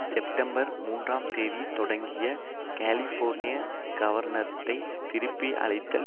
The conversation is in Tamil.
செப்டம்பர் மூன்றாம் தேதி தொடங்கிய கலிஃபோர்னிய கவர்னரைத் திருப்பி அழைத்தல்